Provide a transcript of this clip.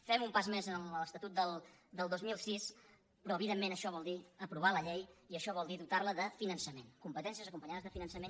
fem un pas més en l’estatut del dos mil sis però evidentment això vol dir aprovar la llei i això vol dir dotar la de finançament competències acompanyades de finançament